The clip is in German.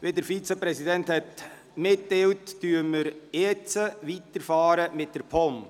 Wie der Vizepräsident mitgeteilt hat, fahren wir jetzt weiter mit der POM.